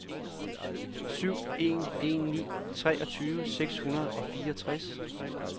syv en en ni treogtyve seks hundrede og fireogtres